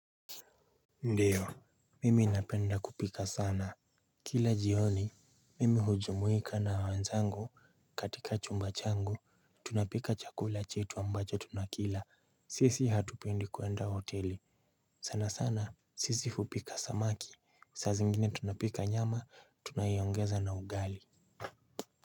Ndiyo, mimi napenda kupika sana. Kila jioni, mimi hujumuika na wenzangu katika chumba changu tunapika chakula chetu ambacho tunakila. Sisi hatupendi kuenda hoteli. Sana sana, sisi kupika samaki, saa zingine tunapika nyama tunaiongeza na ugali.